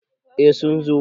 eh sun zo